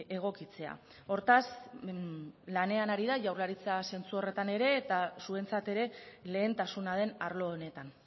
egokitzea hortaz lanean ari da jaurlaritza zentzu horretan ere eta zuentzat ere lehentasuna den arlo honetan